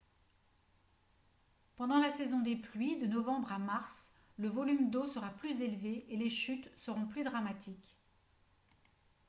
pendant la saison des pluies de novembre à mars le volume d'eau sera plus élevé et les chutes seront plus dramatiques